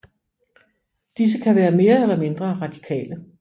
Disse kan være mere eller mindre radikale